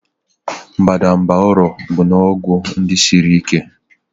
Mbadamba ụrọ bụ ọgwụ n'ụdị siri ike.